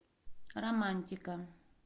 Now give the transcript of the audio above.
романтика